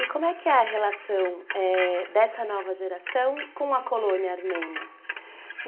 E como é que é a relação dessa nova geração com a colônia armênia?